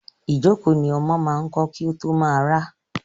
Ìjókòó ni ọmọ máa ń kọ́ kí ó tó máa rá.